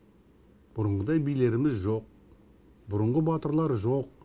бұрынғыдай билеріміз жоқ бұрынғы батырлар жоқ